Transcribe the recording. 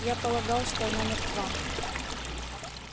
я полагал что она мертва